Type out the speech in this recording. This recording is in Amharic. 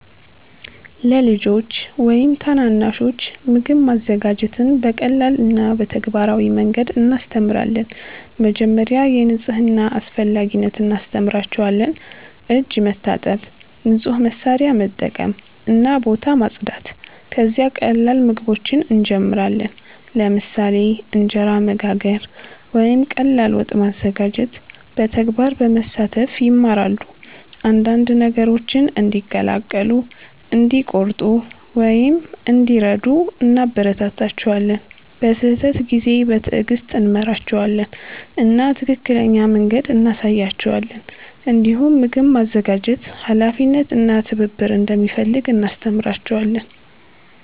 ለልጆች ወይም ታናናሾች ምግብ ማዘጋጀትን በቀላል እና በተግባራዊ መንገድ እናስተምራለን። መጀመሪያ የንጽህና አስፈላጊነት እናስተምራቸዋለን፤ እጅ መታጠብ፣ ንጹህ መሳሪያ መጠቀም እና ቦታ ማጽዳት። ከዚያ ቀላል ምግቦችን እንጀምራለን፣ ለምሳሌ እንጀራ መጋገር ወይም ቀላል ወጥ ማዘጋጀት። በተግባር በመሳተፍ ይማራሉ፤ አንዳንድ ነገሮችን እንዲቀላቀሉ፣ እንዲቆርጡ ወይም እንዲረዱ እናበረታታቸዋለን። በስህተት ጊዜ በትዕግስት እንመራቸዋለን እና ትክክለኛ መንገድ እንሳያቸዋለን። እንዲሁም ምግብ ማዘጋጀት ኃላፊነት እና ትብብር እንደሚፈልግ እናስተምራቸዋለን።